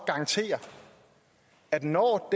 garantere at når